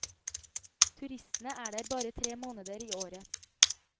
Turistene er der bare tre måneder i året.